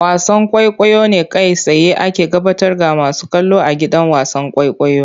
Wasan kwaikwayo ne kai tsaye ake gabatar ga masu kallo a gidan wasan kwaikwayo.